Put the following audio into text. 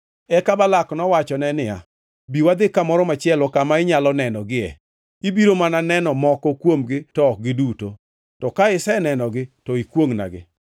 Eka Balak nowachone niya, “Bi wadhi kamoro machielo kama inyalo nenogie; ibiro mana neno moko kuomgi to ok giduto. To ka isenenogi, to ikwongʼnagi.”